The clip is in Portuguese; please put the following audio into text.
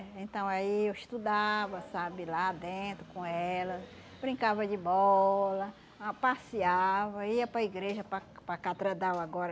Eh, então aí eu estudava, sabe, lá dentro com elas, brincava de bola, ah passeava, ia para igreja para para catredal agora,